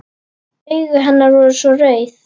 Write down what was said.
Augu hennar voru svo rauð.